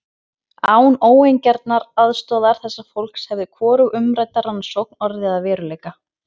Án óeigingjarnrar aðstoðar þessa fólks hefði hvorug umrædd rannsókn orðið að veruleika.